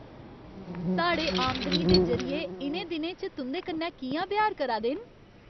साढ़े आमदनी दे जरिये इ'नें दिनें च तुं'दे कन्नै कि'यां ब्यहार करा दे न?